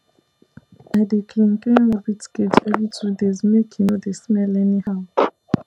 i dey clean clean rabbit cage every two days make e no dey smell anyhow